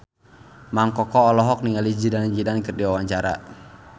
Mang Koko olohok ningali Zidane Zidane keur diwawancara